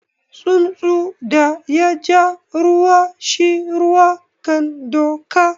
Tsuntsun da ya ja ruwa shi ruwa kan doka.